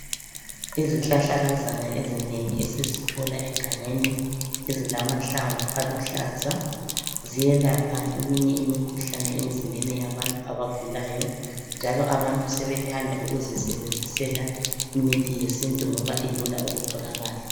Izihlahlakazana ezinengi esizithola egangeni, ezilamahlamvu aluhlaza ziyelapha eminye imikhuhlane emzimbeni yabantu abagulayo, njalo abantu sebethanda ukuzisebenzisela imithi yesintu ngoba ilula ukutholakala.